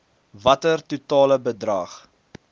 watter totale bedrag